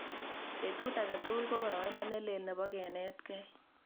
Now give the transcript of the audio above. Petut age tugul ko boroindo ne lel nebo kenetkei